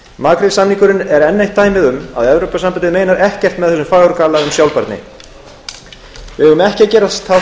makrílsamningurinn er enn eitt dæmið um að evrópusambandið meinar ekkert með þessum fagurgala um sjálfbærni við eigum ekki að gerast þátttakendur